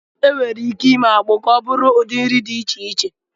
E nwèrè ìké ímé ákpụ ka ọ bụrụ ụdị nri dị iche iche